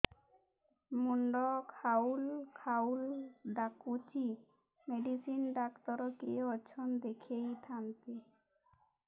ମୁଣ୍ଡ ଖାଉଲ୍ ଖାଉଲ୍ ଡାକୁଚି ମେଡିସିନ ଡାକ୍ତର କିଏ ଅଛନ୍ ଦେଖେଇ ଥାନ୍ତି